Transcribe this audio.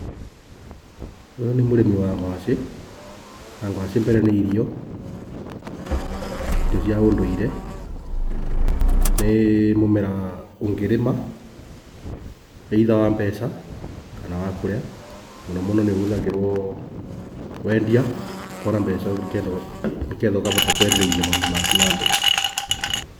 Ũyũ nĩ mũrĩmi wa ngwacĩ, na ngwacĩ mbere nĩ irio, irio cia ũndũire. Nĩ mũmera ũngĩrĩma, either wa mbeca kana wa kũrĩa. Mũno mũno nĩ ũhũthagĩrwo kwendia, ũkona mbeca nĩgetha ũkahota kwendereithia maũndũ maku na mbere.